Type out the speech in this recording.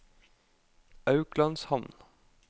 Auklandshamn